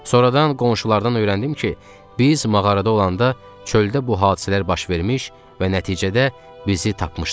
Sonradan qonşulardan öyrəndim ki, biz mağarada olanda çöldə bu hadisələr baş vermiş və nəticədə bizi tapmışdılar.